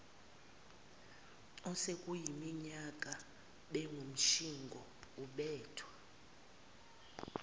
osekuyiminyaka bengumtshingo ubethwa